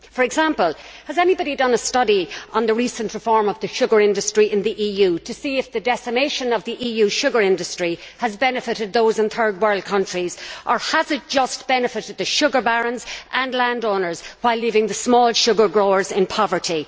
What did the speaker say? For example, has anybody done a study on the recent reform of the sugar industry in the EU to see if the decimation of the EU sugar industry has benefited those in Third World countries or if it has just benefited the sugar barons and landowners while leaving the small sugar growers in poverty?